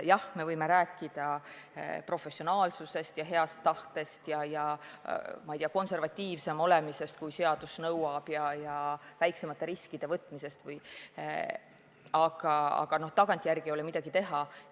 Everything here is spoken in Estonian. Jah, me võime rääkida professionaalsusest ja heast tahtest ja, ma ei tea, konservatiivsem olemisest, kui seadus nõuab, ja väiksemate riskide võtmisest, aga tagantjärele ei ole midagi teha.